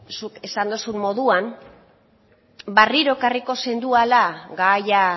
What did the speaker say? zuk esan dozun moduan berriro ekarriko zenduela gaia